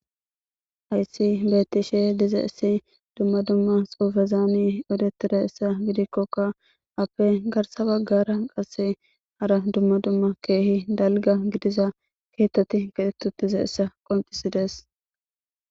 Hayisi betishe dizayisi dumma dumma eretizayisa gidikkoka asayi garisa bagara qase hara dumma dumma kehi daliga gidiza kehathati ketheti dizayisa qoncisidesi